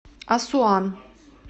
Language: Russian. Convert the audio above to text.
асуан